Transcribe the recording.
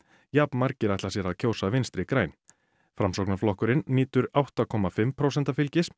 jafn margir ætla sér að kjósa Vinstri græn nýtur átta komma fimm prósenta fylgis